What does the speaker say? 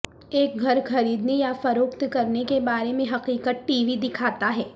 ایک گھر خریدنے یا فروخت کرنے کے بارے میں حقیقت ٹی وی دکھاتا ہے